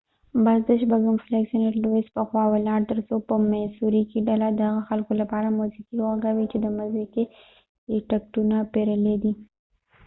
بس د شپږم فلیګ سنټ لويس په خوا ولاړ تر څو په میسوری کې ډله د هغه خلکو لپاره موسیقی و غږوي چې د مځکې یې ټکټونه پیرلی دي